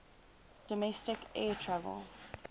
domestic air travel